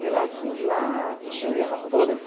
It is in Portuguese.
De lá sim, de lá eu ia para todas.